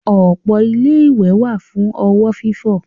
Ọpọ́n ilé-ìwẹ̀ wà fún ọwọ́ fífọ̀.